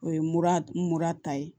O ye mura mura ta ye